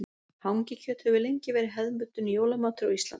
Hangikjöt hefur lengi verið hefðbundinn jólamatur á Íslandi.